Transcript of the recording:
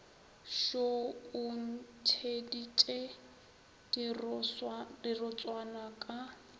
šoo o ntšheditše dirotswana ka